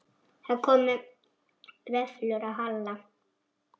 Það komu vöflur á Halla.